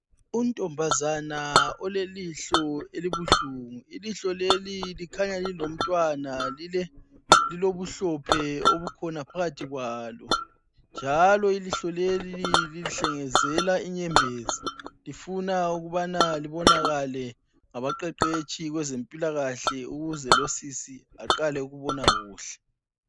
Untombazana olelihlo elibuhlungu. Ilihlo leli likhanya lihlaliwe lilobuhlophe obukhona phakathi. Ilihlo leli lihlengezela inyembezi lifuna ukubana libonakale ngabaqeqetshi bezempilakahle ukuze luntombazana aqale ukubona kuhle.